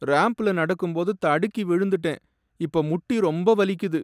ராம்ப்ல நடக்கும்போது தடுக்கி விழுந்துட்டேன், இப்ப முட்டி ரொம்ப வலிக்குது.